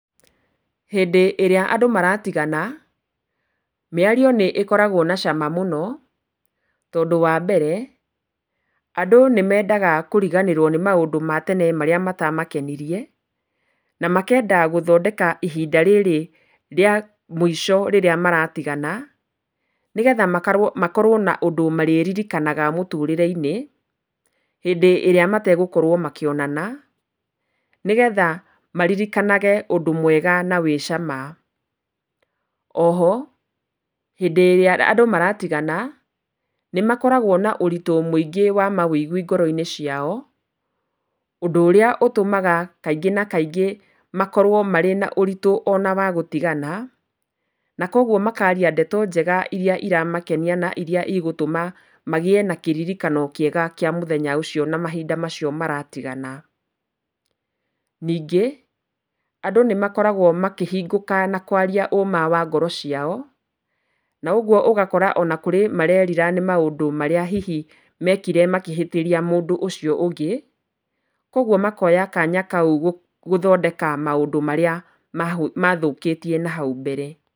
Hĩndĩ ĩrĩa andũ maratigana mĩario nĩĩkoragwo na cama mũno, tondũ wa mbere andũ nĩmendaga kũriganĩrwo nĩ maũndũ ma tene marĩa matamakenirie, na makenda gũthondeka ihinda rĩrĩ rĩa mũico rĩrĩa maratigana. Nĩgetha makorwo na ũndũ marĩririkanaga mũtũrĩre-inĩ hĩndĩ ĩrĩa mategũkorwo makĩonana. Nĩgetha maririkanage ũndũ mwega na wĩ cama. O ho hĩndĩ ĩrĩa andũ maratigana nĩmakoragwo na ũritũ mũingĩ wa mawũigwi ngoro-inĩ ciao, ũndũ ũrĩa ũtũmaga kaingĩ na kaingĩ makorwo marĩ na ũritũ ona wa gũtigana. Na koguo makaria ndeto njega iria iramakenia na iria igũtũma magiĩ na kĩririkano kĩega kĩa mũthenya ũcio na mahinda macio maratigana. Ningĩ andũ nĩmakoragwo makĩhingũka na kwaria ũma wa ngoro ciao na ũguo ũgakora ona kũrĩ marerira nĩ maũndũ marĩa mekire makĩhĩtĩria mũndũ ũcio ũngĩ. Koguo makoya kanya kau gũthondeka maũndũ marĩa mathũkĩtie na hau mbere.